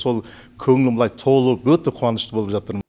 сол көңілім былай толып өте қуанышты болып жатырмын